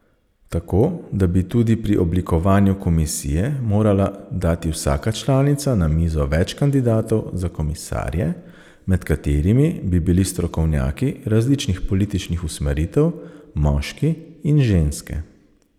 Tako da bi tudi pri oblikovanju komisije morala dati vsaka članica na mizo več kandidatov za komisarje, med katerimi bi bili strokovnjaki različnih političnih usmeritev, moški in ženske.